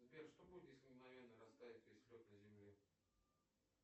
сбер что будет если мгновенно растает весь лед на земле